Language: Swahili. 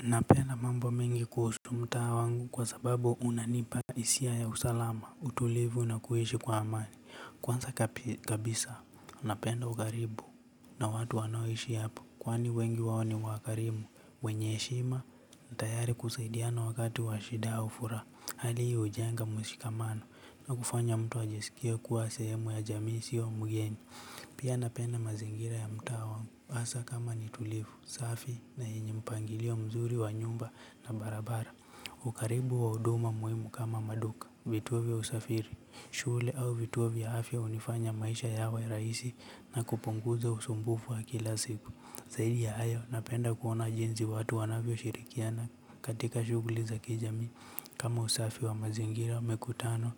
Napenda mambo mengi kuhusu mtaa wangu kwa sababu unanipa hisia ya usalama, utulivu na kuhishi kwa amani. Kwansa kabisa, napenda ugaribu na watu wanoishi hapo. Kwani wengi wao ni wakarimu, wenye heshima na tayari kusaidiana wakati wa shida au furaha. Hali hii ujenga mshikamano na kufanya mtu ajesikia kuwa sehemu ya jamii isiyo mgeni. Pia napenda mazingira ya mtaa wangu, hasa kama nitulifu, safi na yenye mpangilio mzuri wa nyumba na barabara. Ukaribu wa huduma muhimu kama maduka. Vituo vya usafiri, shule au vituo vya afya unifanya maisha yawe rahisi na kupunguza usumbufu wa kila siku. Zaidi ya hayo, napenda kuona jinzi watu wanavyoshirikiana katika shuguli za kijamii. Kama usafi wa mazingira, mikutano